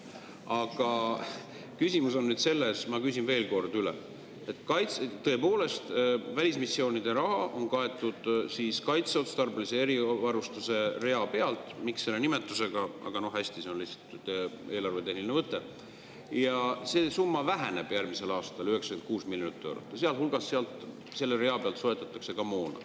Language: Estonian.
Aga küsimus on nüüd selles, ma küsin veel kord üle, et tõepoolest, välismissioonide raha on kaetud kaitseotstarbelise erivarustuse rea pealt – miks sellise nimetusega, aga no hästi, see on lihtsalt eelarvetehniline võte – ja see summa väheneb järgmisel aastal 96 miljonit eurot, sealhulgas soetatakse selle rea peal moona.